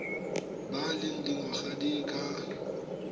ba leng dingwaga di ka